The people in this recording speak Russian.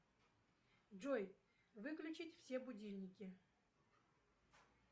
джой выключить все будильники